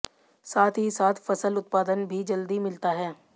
साथ ही साथ फसल उत्पादन भी जल्दी मिलता है